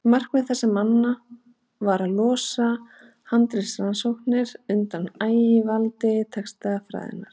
Markmið þessara manna var að losa handritarannsóknir undan ægivaldi textafræðinnar.